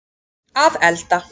að elda